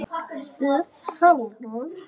spyr Helgi.